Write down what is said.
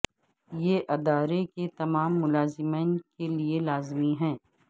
یہ ادارے کے تمام ملازمین کے لئے لازمی ہے